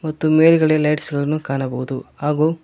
ಮತ್ತು ಮೇಲ್ಗಡೆ ಲೈಟ್ಸ್ ಗಳನ್ನು ಕಾಣಬಹುದು ಹಾಗೂ.